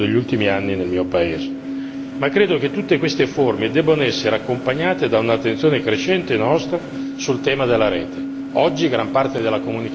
è capitato più volte nel corso degli ultimi anni nel mio paese. Credo tuttavia che tutte queste forme debbano essere accompagnate da un'attenzione crescente da parte nostra sul tema della rete.